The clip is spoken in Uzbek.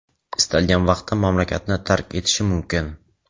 istalgan vaqtda mamlakatni tark etishi mumkin.